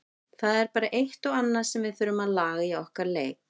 Það er bara eitt og annað sem við þurfum að laga í okkar leik.